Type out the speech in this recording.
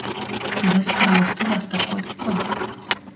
біз құрылысты бастап қойдық қой